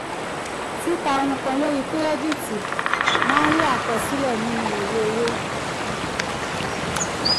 tita ohunkan lori kirẹditi maa nfa afihan ni iwe owo.